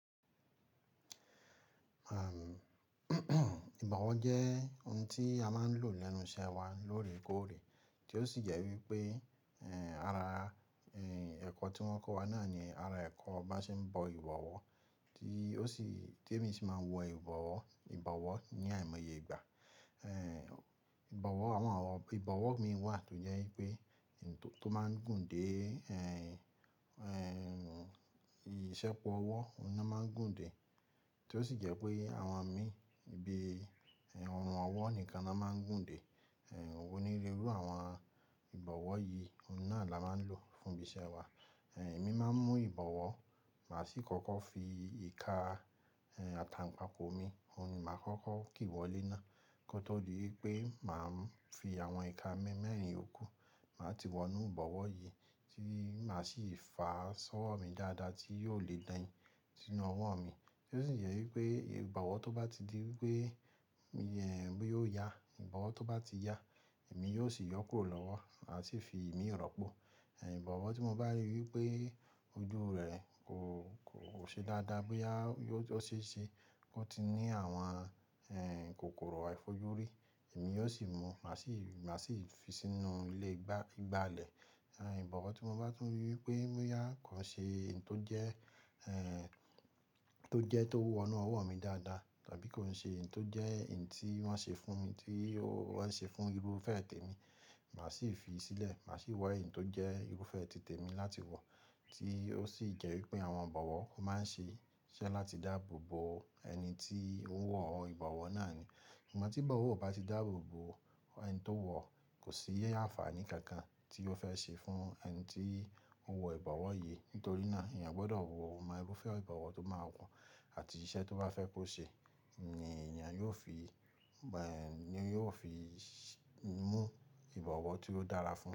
Àam, ìbọ̀wọ́ jẹ́ ohun tí a máa ń lò lẹ́nu iṣẹ́ wa lóòrèkóòrè, tí ó sì jẹ́ wípé, ẹ́, ara, ẹ́, ẹ̀kọ́ tí wọ́n kọ́ wa náà ni ara ẹ̀kọ́ bá ń ṣe ń bọ ìbọ̀wọ́, tí ó sì, tí èmi sì máa ń wọ ìbọ̀wọ́, ìbọ̀wọ́ ní àìmọye ìgbà. Ẹ́hn, ìbọ̀wọ́, àwọn ìbọ̀wọ́ mi wà tó jẹ́ wípé ohun tó máa ń gùn dé, ẹ́, ẹ́, ìṣẹ́po ọwọ́ ni wọ́n máa ń gùn dé, tí ó sì jẹ́ pé àwọn mi ibi ọrùn ọwọ́ nìkan la máa ń gùn dé. Ehn ohun irú àwọn ìbọ̀wọ́ yìí, ohun náà ni amo ń lò fún ibi iṣẹ́ wa. Ẹ̀, èmi máa ń mú ìbọ̀wọ́, màá sì kọ́kọ́ fi ìka, ẹ́, àtàǹpákó mi, òun ni màá kọ́kọ́ kí wọlé ná. Kọ́ tó di wípé màá ń fi àwọn ìka mi mẹ́rin ìyókù, màá ti wọnú ìbọ̀wọ́ yìí, tí màá sì fà á sọ́wọ́ mi dáadáa tí yóò lè dain sínú ọwọ́ mi. Kí ó sì jẹ́ wípé ìbọ̀wọ́ tó bá ti di wípé, ẹ́, bóyá ó yà, or tó bá ti ya, èmi yóò sì yọ́ kùo lọ́wọ́, màá sì fi ìmi rọ́pò. Ẹ̀, ìbọ̀wọ́ tí mo bá ríi wípé ojú rẹ̀ kò, kò ṣe dáadáa bóyá yò o ṣeeṣe, kó ti ní àwọn, ẹ́, kòkòrò àìfojúrí, èmi yóò sì mú, màá sì, màá sì fi sínú ilé ìgbà, ìgbà ilẹ̀. Ẹ̀, ìbọ̀wọ́ tí mo bá tún ríi wípé bóyá kàn ṣe ohun tó jẹ́, ẹ́, tó jẹ́ tó wọ inú ọwọ́ mi dáadáa, tàbí kò ń ṣe èyí tó jẹ́ èyí tí wọ́n ṣe fún mi, tí wọ́n ṣe fún irúfẹ́ tèmi, màá sì fi í sílẹ̀, màá sì wọ ohun tó jẹ́ irúfẹ́ tí tèmi láti wọ̀, tí ó sì jẹ́ wípé àwọn ìbọ̀wọ́ máa ń ṣe iṣẹ́ láti dáàbò bo ẹni tí ń wọ ìbọ̀wọ́ náà ni. Ṣùgbọ́n tí ìbọ̀wọ́ ò bá ti dáàbò bo ẹni tó wọ, kò sí àfààní kankan tí ó fẹ́ ṣe fún ẹni tí ó ń wọ ìbọ̀wọ́ yìí. Nítorí náà, èèyàn gbọdọ̀ wọ ohun irúfẹ́ ìbọ̀wọ́ tó máa wọ̀n àti iṣẹ́ tó bá fẹ́ kó ṣe ni èèyàn yóò fi, ẹ́, yóò fi mú ìbọ̀wọ́ tí ó dára fún un.